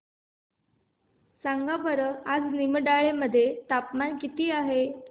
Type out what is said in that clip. सांगा बरं आज निमडाळे मध्ये तापमान किती आहे